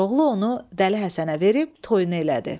Koroğlu onu dəli Həsənə verib toyunu elədi.